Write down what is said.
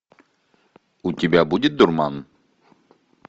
у тебя будет дурман